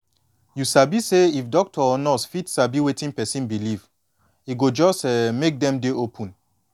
you sabi say if doctor or nurse fit sabi wetin person believe e go just um make dem dey open